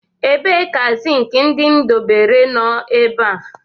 Ebee ka zinc ndị m debere nọ ebe a